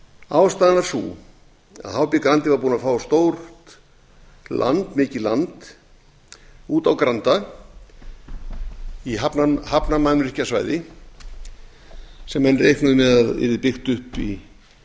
ástæðan var sú að hb grandi var búinn að fá mikið land úti á granda á hafnarmannvirkjasvæði sem menn reiknuðu með að yrði byggt upp í sambandi